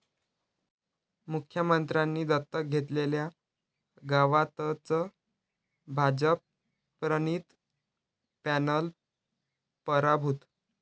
मुख्यमंत्र्यांनी दत्तक घेतलेल्या गावातच भाजपप्रणित पॅनल पराभूत